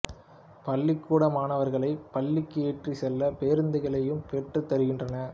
பள்ளிக்கூட மாணவர்களைப் பள்ளிக்கு ஏற்றிச் செல்ல பேருந்துகளையும் பெற்றுத் தருகின்றனர்